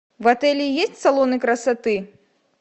в отеле есть салоны красоты